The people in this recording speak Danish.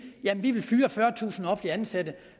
vi vil fyre fyrretusind offentligt ansatte